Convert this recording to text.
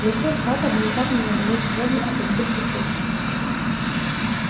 лицо сатта внезапно налилось кровью от избытка чувств